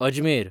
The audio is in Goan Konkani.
अजमेर